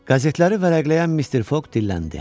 Qəzetləri vərəqləyən Mr Foq dilləndi.